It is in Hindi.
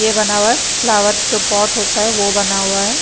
ये बना हुआ है फ्लावर जो पॉट होता है वो बना हुआ है।